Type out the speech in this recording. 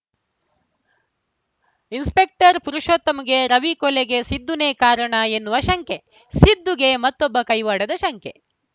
inspector ಪುರುಷೋತ್ತಮ್‌ಗೆ ರವಿ ಕೊಲೆ ಗೆ ಸಿದ್ಧುನೇ ಕಾರಣ ಎನ್ನುವ ಶಂಕೆ ಸಿದ್ಧುಗೆ ಮತ್ತೊಬ್ಬ ಕೈವಾಡದ ಶಂಕೆ